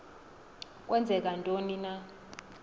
kwenzeka ntoni na